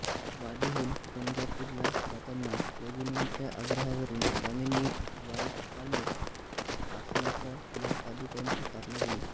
वाडीहून गाणगापूरला जाताना योगिनींच्या आग्रहावरून स्वामींनी वालुकामय पाषाणाच्या या पादुकांची स्थापना केली